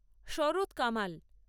Sarat Kamal